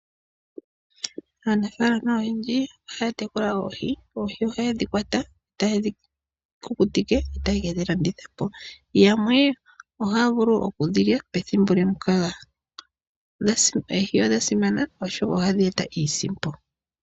Aanafalama oyendji ohaa tekula oohi noha yedhi kwata nokudhi kukutika yedhi landithepo noha yedhili pethimbo lyokwenye. Oohi odha simana oshoka oha dheeta iisimpo.